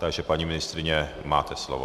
Takže paní ministryně, máte slovo.